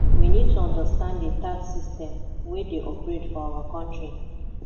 we need to understand di tax system wey dey operate for our country